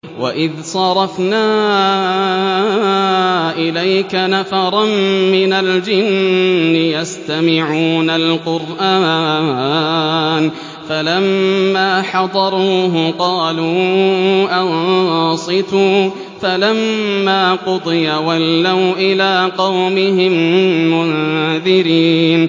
وَإِذْ صَرَفْنَا إِلَيْكَ نَفَرًا مِّنَ الْجِنِّ يَسْتَمِعُونَ الْقُرْآنَ فَلَمَّا حَضَرُوهُ قَالُوا أَنصِتُوا ۖ فَلَمَّا قُضِيَ وَلَّوْا إِلَىٰ قَوْمِهِم مُّنذِرِينَ